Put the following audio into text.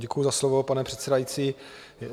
Děkuji za slovo, pane předsedající.